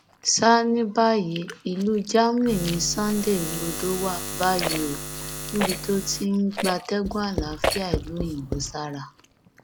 sá ní báyìí ìlú germany ni sannde igbodò wà báyìí o níbi tó ti ń gbatẹgùn àlàáfíà ìlú òyìnbó sára